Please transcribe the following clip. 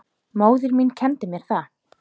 Móðir mín kenndi mér það.